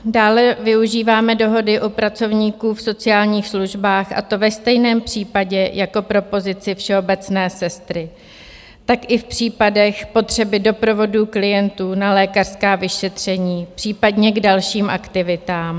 Dále využíváme dohody u pracovníků v sociálních službách, a to ve stejném případě jako pro pozici všeobecné sestry, tak i v případech potřeby doprovodu klientů na lékařská vyšetření, případně k dalším aktivitám.